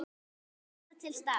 Var alltaf til staðar.